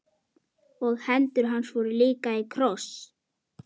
Og hendur hans voru líka í kross.